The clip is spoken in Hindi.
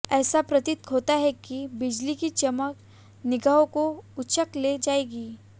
ऐसा प्रतीत होता है कि बिजली की चमक निगाहों को उचक ले जाएगी